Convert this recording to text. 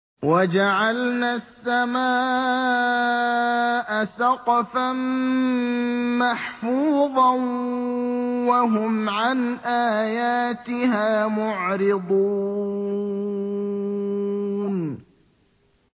وَجَعَلْنَا السَّمَاءَ سَقْفًا مَّحْفُوظًا ۖ وَهُمْ عَنْ آيَاتِهَا مُعْرِضُونَ